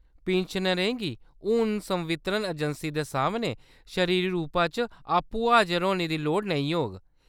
पिन्शनरें गी हून संवितरण अजैंसी दे सामनै शरीरी रूपा च आपूं हाजर होने दी लोड़ नेईं होग।